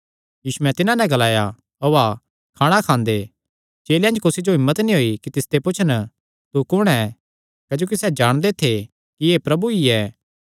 यीशुयैं तिन्हां नैं ग्लाया ओआ खाणा खांदे चेलेयां च कुसी जो हिम्मत नीं होई कि तिसते पुछन तू कुण ऐ क्जोकि सैह़ जाणदे थे कि एह़ प्रभु ई ऐ